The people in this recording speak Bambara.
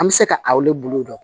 An bɛ se ka aw de bolo dɔn